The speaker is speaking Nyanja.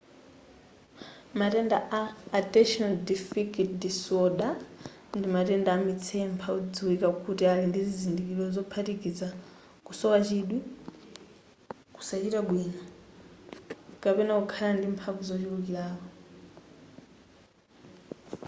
matenda a attention deficit disorder ndi matenda amitsempha odziwika kuti ali ndi zizindikiro zophatikiza kusowa chidwi kusachita bwino kapena kukhala ndi mphamvu zochulukirapo